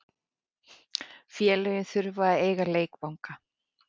Félögin þurfa að eiga leikvangana.